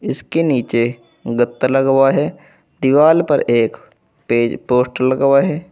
इसके नीचे गत्ता लगा हुआ है दीवाल पर एक पे पोस्टर लगा हुआ है।